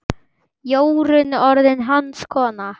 Jórunn orðin hans kona.